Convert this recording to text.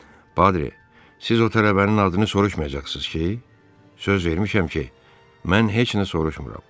Patri, siz o tələbənin adını soruşmayacaqsınız ki, söz vermişəm ki, mən heç nə soruşmuram.